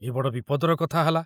ଏ ବଡ଼ ବିପଦର କଥା ହେଲା।